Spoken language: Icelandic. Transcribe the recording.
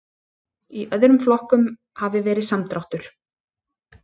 Í öðrum flokkum hafi verið samdráttur